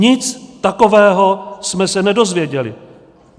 Nic takového jsme se nedozvěděli.